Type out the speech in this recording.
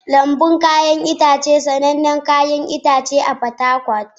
Lambun 'ya'yan itace sanannen kasuwar 'ya'yan itace a Fatakwal.